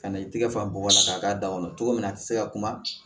Ka na i tɛgɛ fa bɔgɔ la k'a k'a da kɔnɔ cogo min na a tɛ se ka kuma